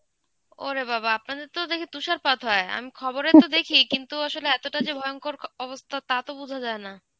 ওরে বাবাঃ! আপনাদের তো দেখি তুষারপাত হয়. আমি খবরে তো দেখি কিন্তু আসলে এতটা যে ভয়ঙ্কর অ~ অবস্থা তা তো বোঝা যায় না.